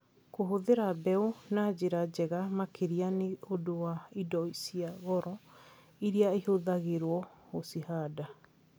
Kũhũthĩra mbeũ na njĩra njega makĩria nĩ ũndũ wa indo cia goro iria ihũthagĩrũo gũcihanda.